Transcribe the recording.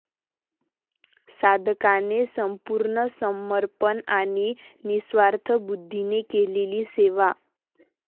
साधकाने संपूर्ण समर्पण आणि निस्वार्थी बुद्धीने केलेली सेवा.